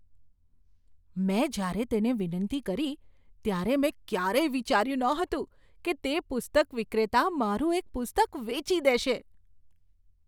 મેં જ્યારે તેને વિનંતી કરી ત્યારે મેં ક્યારેય વિચાર્યું નહોતું કે તે પુસ્તક વિક્રેતા મારું એક પુસ્તક વેચી દેશે!